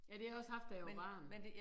Ja det har jeg også haft da jeg var barn